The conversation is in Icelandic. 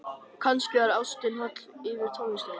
Kannski var ástin holl fyrir tónlistina.